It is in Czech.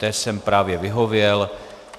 Té jsem právě vyhověl.